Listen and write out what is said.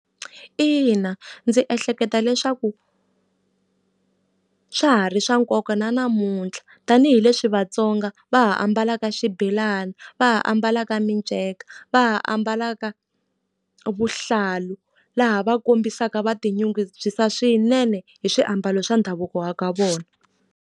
Ina ndzi ehleketa leswaku swa ha ri swa nkoka na namuntlha. Tanihi leswi vaTsonga va ha ambalaka xibelani, va ha ambalaka minceka, va ha ambalaka vuhlalu. Laha va kombisaka va tinyungubyisa swinene hi swiambalo swa ndhavuko wa ka vona.